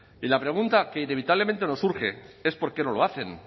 y la pregunta que inevitablemente nos surge es por qué no lo hacen